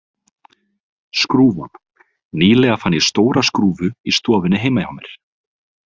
Skrúfan Nýlega fann ég stóra skrúfu í stofunni heima hjá mér.